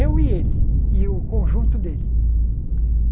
Eu e ele, e o conjunto dele.